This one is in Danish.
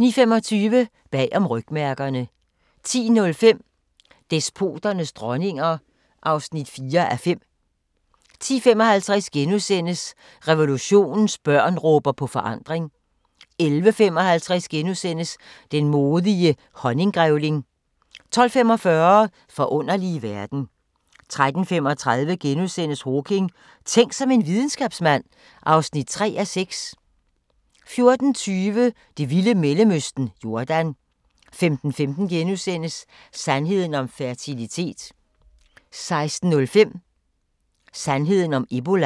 09:25: Bag om rygmærkerne 10:05: Despoternes dronninger (4:5) 10:55: Revolutionens børn råber på forandring * 11:55: Den modige honninggrævling * 12:45: Forunderlige verden 13:35: Hawking: Tænk som en videnskabsmand (3:6)* 14:20: Det vilde Mellemøsten – Jordan 15:15: Sandheden om fertilitet * 16:05: Sandheden om ebola